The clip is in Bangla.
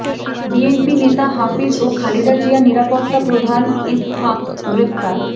বিএনপি নেতা হাফিজ ও খালেদা জিয়ার নিরাপত্তা প্রধান ইসহাক গ্রেফতার